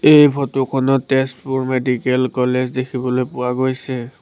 এই ফটো খনত Tezpur medical college দেখিবলৈ পোৱা গৈছে।